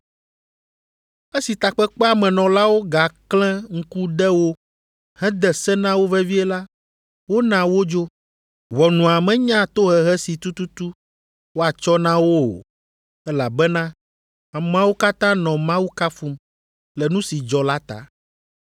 Esi takpekpea me nɔlawo gaklẽ ŋku de wo hede se na wo vevie la, wona wodzo. Ʋɔnua menya tohehe si tututu woatsɔ na wo o, elabena ameawo katã nɔ Mawu kafum le nu si dzɔ la ta.